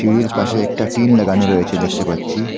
সিঁড়ির পাশে একটা টিন লাগানো রয়েছে দেখতে পাচ্ছি।